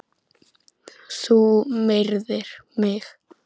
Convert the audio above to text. Þú myrðir mig!